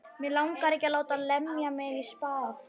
Mig langar ekki að láta lemja mig í spað.